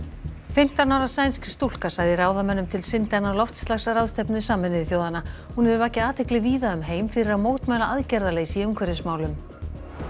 fimmtán ára sænsk stúlka sagði ráðamönnum til syndanna á loftslagsráðstefnu Sameinuðu þjóðanna hún hefur vakið athygli víða um heim fyrir að mótmæla aðgerðarleysi í umhverfismálum